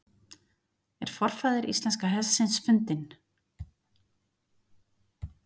„er forfaðir íslenska hestsins fundinn“